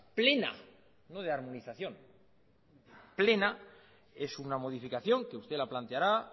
plena no de armonización es una modificación que usted la planteará